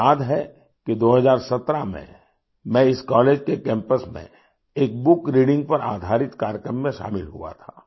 मुझे याद है कि 2017 में मैं इस कॉलेज के कैंपस में एक बुक रीडिंग पर आधारित कार्यक्रम में शामिल हुआ था